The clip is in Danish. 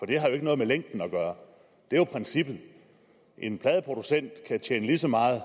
det har jo ikke noget med længden at gøre det er jo princippet en pladeproducent kan tjene lige så meget